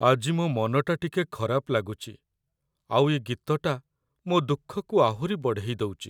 ଆଜି ମୋ ମନଟା ଟିକେ ଖରାପ ଲାଗୁଚି ଆଉ ଏ ଗୀତଟା ମୋ' ଦୁଃଖକୁ ଆହୁରି ବଢ଼େଇ ଦଉଚି ।